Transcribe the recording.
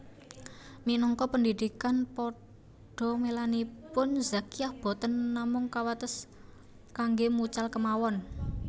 Minangka pendhidhik padamelanipun Zakiah boten namung kawates kangge mucal kemawon